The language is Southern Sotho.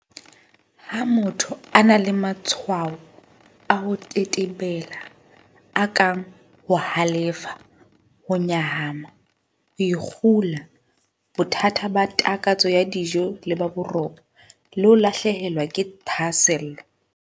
Ha motho a na le matshwao a ho tetebela, a kang ho halefa, ho nyahama, ho ikgula, bothata ba takatso ya dijo le ba boroko, le ho lahlehelwa ke thahasello.